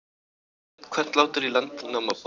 Nefnt Hvallátur í Landnámabók.